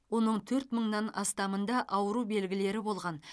оның төрт мыңнан астамында ауру белгілері болған